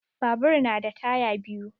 Babur na da taya biyu.